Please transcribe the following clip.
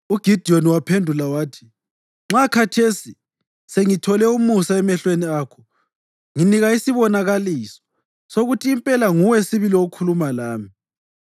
UGidiyoni waphendula wathi, “Nxa khathesi sengithole umusa emehlweni akho, nginika isibonakaliso sokuthi impela nguwe sibili okhuluma lami.